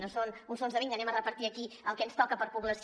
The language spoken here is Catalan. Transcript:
no són uns fons de vinga repartim aquí el que ens toca per població